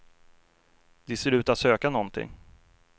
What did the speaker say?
De ser ut att söka någonting.